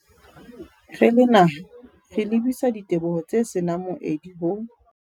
Re le naha, re lebisa diteboho tse se nang moedi ho